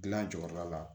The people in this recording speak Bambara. Gilan jɔyɔrɔ la